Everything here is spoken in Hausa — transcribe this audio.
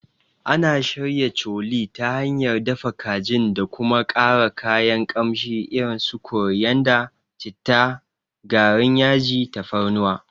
Ana shirya Chole ta hanyar dafa kajin da kuma ƙara kayan kamshi irin su koriyanda, citta, garin yaji, tafarnuwa.